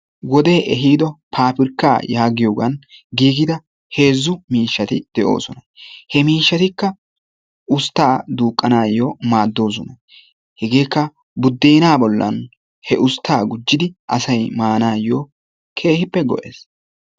Wodee ehiido paapirkka. yaagiyogan giigida heezzu miishshati de"oosona. He miishshatikka usttaa duuqqanawu maaddoosona. Hegeekka buddeenaa bollan he usttas gujjidi asayi maanaayyo keehippe go"es.